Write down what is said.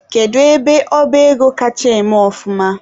Kedu ọba ego kacha eme ọfụma?